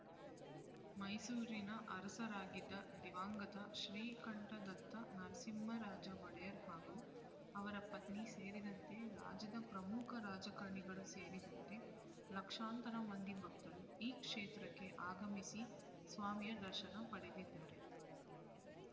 ಮೈಸೂರಿನ ಅರಸರಾಗಿದ್ದ ದಿವಂಗತ ಶ್ರೀಕಂಠದತ್ತ ನರಸಿಂಹರಾಜ ಒಡೆಯರ್ ಹಾಗೂ ಅವರ ಪತ್ನಿ ಸೇರಿದಂತೆ ರಾಜ್ಯದ ಪ್ರಮುಖ ರಾಜಕಾರಣಿಗಳು ಸೇರಿದಂತೆ ಲಕ್ಷಾಂತರ ಮಂದಿ ಭಕ್ತರು ಈ ಕ್ಷೇತ್ರಕ್ಕೆ ಆಗಮಿಸಿ ಸ್ವಾಮಿಯ ದರ್ಶನ ಪಡೆದಿದ್ದಾರೆ